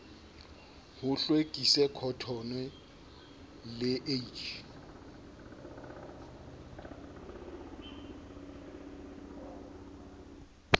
ho hlwekise khotone le h